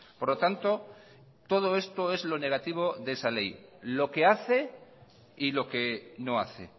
por lo tanto todo esto es lo negativo de esa ley lo que hace y lo que no hace